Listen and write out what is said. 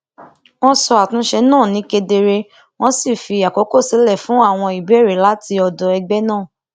wọn sọ àtúnṣe náà ní kedere wọn sì fi àkókò sílẹ fún àwọn ìbéèrè láti ọdọ ẹgbẹ náà